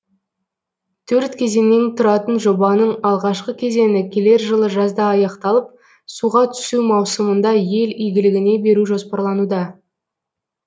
төрт кезеңнен тұратын жобаның алғашқы кезеңі келер жылы жазда аяқталып суға түсу маусымында ел игілігіне беру жоспарлануда